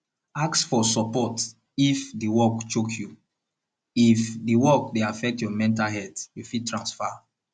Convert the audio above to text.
ask for support if di work choke you if di work dey affect your mental health you fit transfer